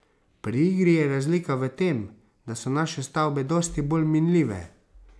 Pri igri je razlika v tem, da so naše stavbe dosti bolj minljive.